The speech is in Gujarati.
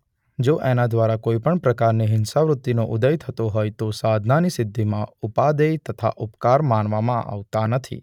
જો એના દ્વારા કોઈપણ પ્રકારની હિંસાવૃત્તિનો ઉદય થતો હોય તો સાધનાની સિદ્ધિમાં ઉપાદેય તથા ઉપકાર માનવામાં આવતા નથી.